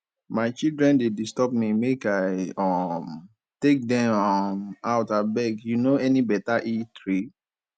my children dey disturb me make i um take dem um out abeg you no any beta eatery